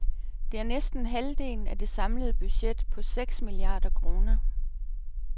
Det er næsten halvdelen af det samlede budget på seks milliarder kroner.